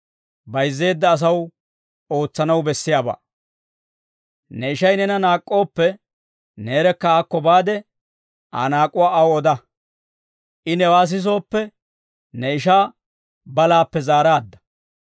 «Ne ishay neena naak'k'ooppe, neerekka aakko baade, Aa naak'uwaa aw oda; I newaa sisooppe, ne ishaa balaappe zaaraadda.